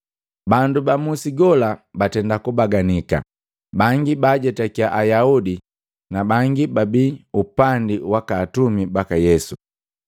Bandu bamusi gola batenda kubaganika, bangi baajetakia Ayaudi nabangi bababi upandi waka atumi baka Yesu.